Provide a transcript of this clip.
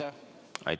Aitäh!